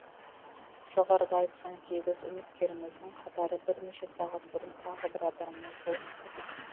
жоғарыда айтқан сегіз үміткеріміздің қатары бірнеше сағат бұрын тағы бір адаммен толықты